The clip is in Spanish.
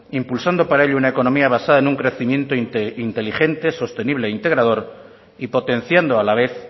impulsando para ello una economía basada en un crecimiento inteligente sostenible e integrador y potenciando a la vez